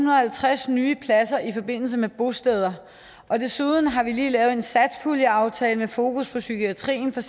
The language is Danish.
og halvtreds nye pladser i forbindelse med bosteder desuden har vi lige lavet en satspuljeaftale med fokus på psykiatrien